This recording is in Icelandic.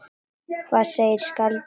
Hvað segir skáldið gott?